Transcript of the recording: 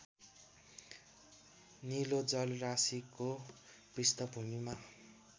नीलो जलराशिको पृष्ठभूमिमा